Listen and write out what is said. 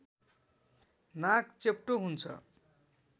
नाक चेप्टो हुन्छ